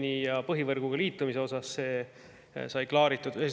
Aga see puudutab põhivõrguga liitumist ja see sai klaaritud.